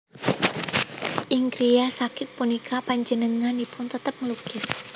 Ing griya sakit punika panjenenganipun tetep nglukis